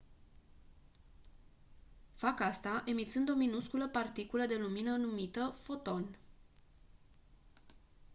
fac asta emițând o minusculă particulă de lumină numită «foton».